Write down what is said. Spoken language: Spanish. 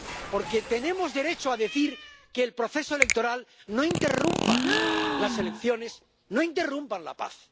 Porque tenemos derecho a decir que el proceso electoral no interrumpa las elecciones, no interrumpa la paz.